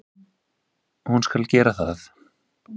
Hún skal gera það.